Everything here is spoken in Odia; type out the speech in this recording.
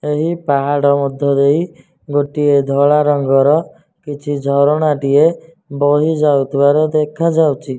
ଏହି ପାହାଡ଼ ମଧ୍ୟ ଦେଇ ଗୋଟିଏ ଧଳା ରଙ୍ଗର କିଛି ଝରଣା ଟିଏ ବହି ଯାଉଥିବାର ଦେଖାଯାଉଚି।